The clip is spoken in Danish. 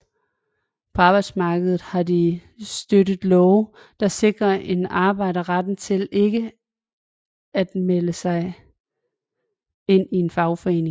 På arbejdsmarkedet har de støttet love der sikrer en arbejder retten til ikke at melde sig ind i en fagforening